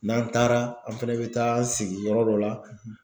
N'an taara an fɛnɛ bɛ taa an sigiyɔrɔ dɔ la